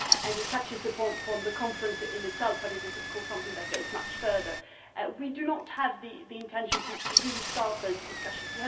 It touches upon the conference itself but it is, of course, something that goes much further. We do not have the intention of really starting those discussions